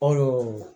Anw